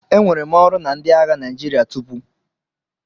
Enwere m ọrụ na ndị agha Naijiria tupu.